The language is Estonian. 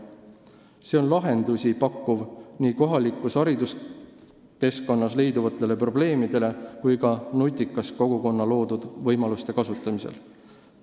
See pakub lahendusi kohalikus hariduskeskkonnas leiduvatele probleemidele ja võimaldab nutikust kogukonna loodud võimaluste kasutamisel.